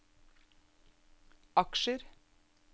aksjer